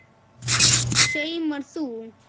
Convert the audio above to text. Saumar þú?